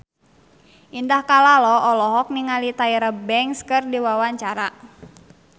Indah Kalalo olohok ningali Tyra Banks keur diwawancara